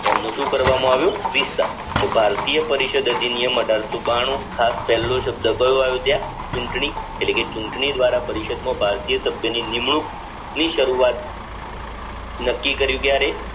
એમનું શું કરવામાં આવ્યું વિસ્તરણ તો ભારતીય પરિષદ અધિનિયમ અઢારસો બાણું ખાસ પેલો શબ્દ કયો એવો ત્યાં ચૂંટણી એટલે કે ચૂંટણી દ્વારા પરિષદ માં ભારતીય સભ્ય ની નિમણૂંક ની શરૂવાત નક્કી કરી ત્યારે